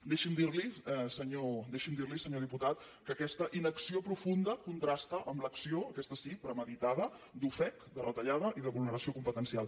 deixi’m dirli senyor diputat que aquesta inacció profunda contrasta amb l’acció aquesta sí premeditada d’ofec de retallada i de vulneració competencial